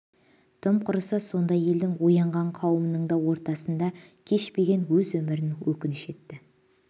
тым құрыса сондай елдің оянған қауымының да ортасында кешпеген өз өмірін өкініш етті